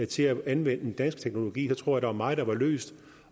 til at anvende den danske teknologi så tror var meget der var løst